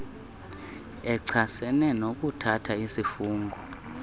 echasene nokuthatha isifungo